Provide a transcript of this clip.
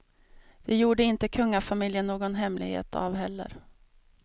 Det gjorde inte kungafamiljen någon hemlighet av heller.